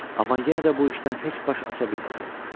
Amma yenə də bu işdən heç baş aça bilmirəm.